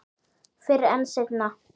Fyrr en seinna.